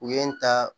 U ye n ta